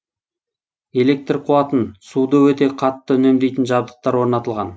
электр қуатын суды өте қатты үнемдейтін жабдықтар орнатылған